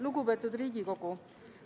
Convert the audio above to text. Lugupeetud Riigikogu!